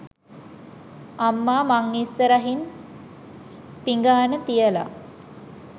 අම්මා මං ඉස්සරහින් පිඟාන තියලා